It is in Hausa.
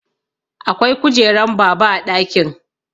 Akwai kujeran baba a ɗakin